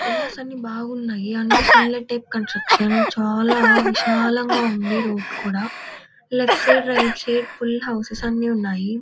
Villas అన్ని బాగున్నాయి. అన్ని సిమిలోర్ టైపు కన్స్ట్రక్షన్ చాలా విశాలంగా ఉంది రోడ్ కూడా left side right side full houses అన్ని ఉన్నాయి.